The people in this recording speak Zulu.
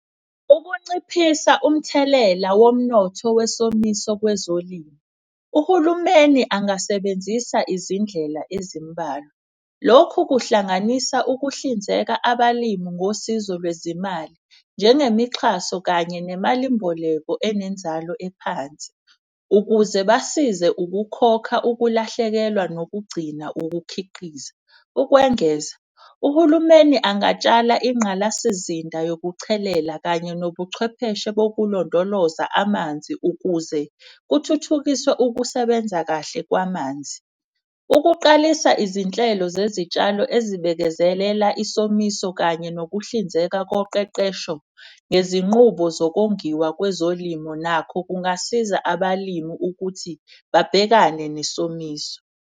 Ukunciphisa umthelela womnotho wesomiso kwezolimo, uhulumeni angasebenzisa izindlela ezimbalwa. Lokhu kuhlanganisa ukuhlinzeka abalimu ngosizo lwezimali, njengemixhaso. Kanye nemalimboleko enenzalo ephansi ukuze basize ukukhokha, ukulahlekelwa, nokugcina ukukhiqiza. Ukwengeza uhulumeni angatshala inqalasizinda yokuchelela kanye nobuchwepheshe bokulondoloza amanzi ukuze kuthuthukiswe ukusebenza kahle kwamanzi. Ukuqalisa izinhlelo zezitshalo ezibekezela isomiso kanye nokuhlinzeka koqeqesho ngezinqubo zokongiwa kwezolimo. Nakho kungasiza abalimu ukuthi babhekane nesomiso.